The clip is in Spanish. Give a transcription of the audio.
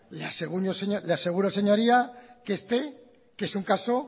le aseguro señoría que este que es un caso